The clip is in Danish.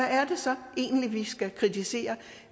egentlig vi skal kritisere